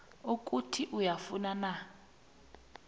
ukuthi uyafuna na